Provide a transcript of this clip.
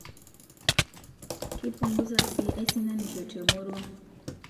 Keipunguza siii aisinanisho temurua